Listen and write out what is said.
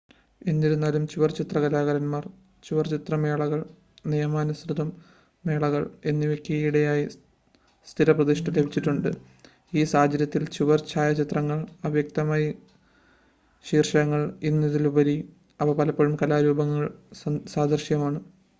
"എന്നിരുന്നാലും ചുവർചിത്ര കലാകാരൻമാർ ചുവർചിത്ര മേളകൾ "നിയമാനുസൃത" മേളകൾ എന്നിവയ്ക്ക് ഈയ്യിടെയായി സ്ഥിരപ്രതിഷ്ഠ ലഭിച്ചിട്ടുണ്ട്. ഈ സാഹചര്യത്തിൽ ചുവർ ഛായാചിത്രങ്ങൾ അവ്യക്തമായ ശീർഷകങ്ങൾ എന്നതിലുപരി അവ പലപ്പോഴും കലാരൂപങ്ങൾക്ക് സദൃശമാണ്.